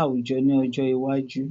awujọ ni ọjọ iwaju?